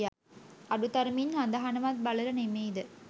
අඩු තරමින් හඳහනවත් බලල නෙමෙයිද